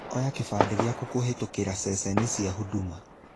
Oya kĩbandĩ gĩaku kũhĩtũkĩra ceceni cia huduma.